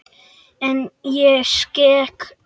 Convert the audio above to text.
En ég skek mig.